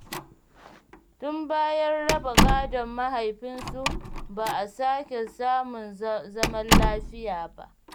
Tun bayan raba gadon mahaifinsu ba a sake samun zaman lafiya ba.